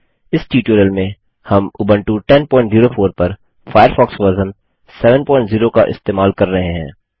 इस ट्यूटोरियल में हम उबंटू 1004 पर फ़ायरफ़ॉक्स वर्ज़न 70 का इस्तेमाल कर रहे हैं